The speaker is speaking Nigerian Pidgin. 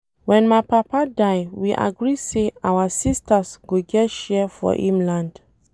Wen my papa die we agree say our sisters go get share for im land